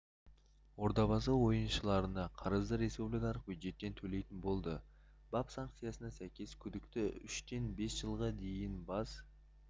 ордабасы ойыншыларына қарызды республикалық бюджеттен төлейтін болды бап санкциясына сәйкес күдікті үштен бес жылға дейін бас